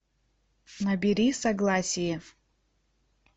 набери согласие